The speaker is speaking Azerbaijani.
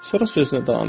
Sonra sözünə davam etdi.